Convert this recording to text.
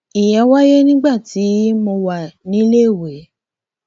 ìyẹn wáyé nígbà tí mo wà níléèwé